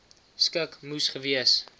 skik moes gewees